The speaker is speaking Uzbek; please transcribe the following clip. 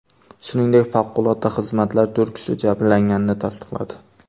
Shuningdek, favqulodda xizmatlar to‘rt kishi jabrlanganini tasdiqladi.